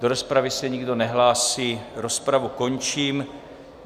Do rozpravy se nikdo nehlásí, rozpravu končím.